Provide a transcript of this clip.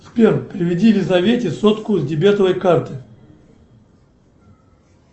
сбер переведи лизавете сотку с дебетовой карты